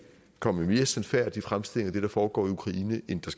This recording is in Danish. komme med mere sandfærdige fremstillinger af det der foregår i ukraine end der